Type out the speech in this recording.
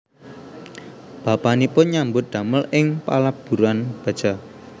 Bapanipun nyambut damel ing paleburan baja